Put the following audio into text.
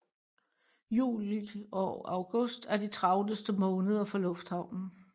Juli og august er de travleste måneder for lufthavnen